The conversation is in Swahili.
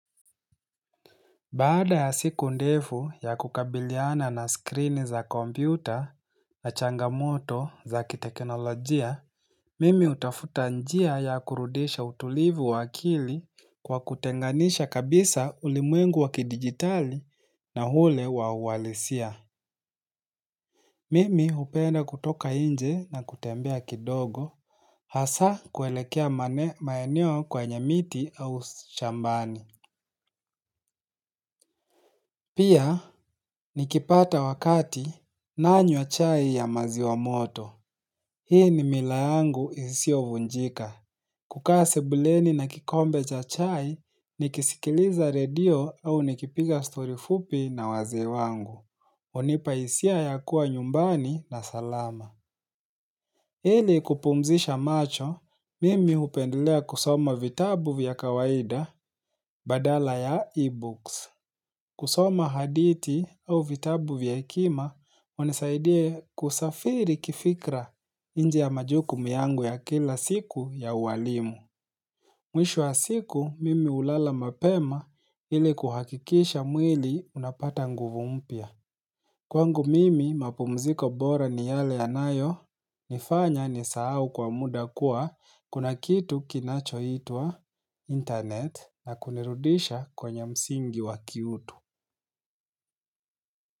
Baada ya siku ndefu ya kukabiliana na screen za kompyuta na changamoto za kitekinolojia, mimi hutafuta njia ya kurudisha utulivu wa akili kwa kutenganisha kabisa ulimwengu wakidigitali na yule wa uwalisia. Mimi upenda kutoka inje na kutembea kidogo hasa kuelekea mane maeneo kwanye miti au shambani. Pia, nikipata wakati nanywa chai ya maziwa moto. Hii ni mila yangu isio vunjika. Kukaa sebuleni na kikombe cha chai, nikisikiliza radio au nikipiga story fupi na wazee wangu. Hunipahisia ya kuwa nyumbani na salama. Ili kupumzisha macho, mimi hupendelea kusoma vitabu vya kawaida badala ya e-books. Kusoma haditi au vitabu vya hekima hunisaidia kusafiri kifikra inje ya majuku yangu ya kila siku ya uwalimu. Mwishu wa siku mimi ulala mapema ili kuhakikisha mwili unapata nguvu mpya. Kwangu mimi mapumziko bora ni yale yanayo nifanya nisahau kwa muda kuwa kuna kitu kinacho itwa internet na kunirudisha kwenye msingi wakiutu.